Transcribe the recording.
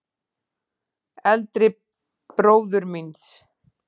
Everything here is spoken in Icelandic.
Eldri bróður míns?